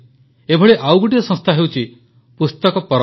ଏଭଳି ଆଉ ଗୋଟିଏ ସଂସ୍ଥା ହେଉଛି ପୁସ୍ତକ ପରବ୍